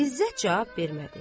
İzzət cavab vermədi.